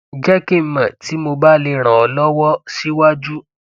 jẹ kí n mọ tí mo bá lè ran ọ lọwọ síwájú